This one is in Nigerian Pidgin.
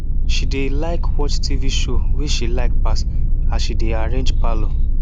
she dey like watch tv show wey she like pass as she dey arrange parlour